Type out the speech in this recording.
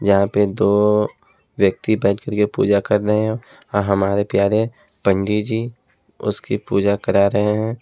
जहां पे दो व्यक्ति बैठ के पूजा कर रहे हैं अ हमारे प्यारे पंडित जी उसकी पूजा करा रहे हैं।